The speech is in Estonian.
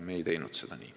Me ei teinud seda nii.